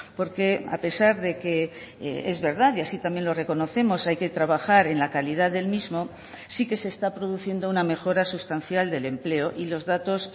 porque a pesar de que es verdad y así también lo reconocemos hay que trabajar en la calidad del mismo sí que se está produciendo una mejora sustancial del empleo y los datos